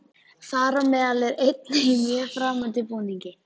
Þar á meðal er einn í mjög framandi búningi.